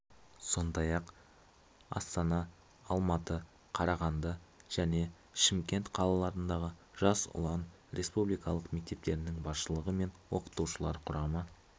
сондай-ақ астана алматы қарағанды және шымкент қалаларындағы жас ұлан республикалық мектептерінің басшылығы мен оқытушылар құрамы